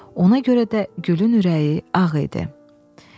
Ona görə də gülün ürəyi ağ idi.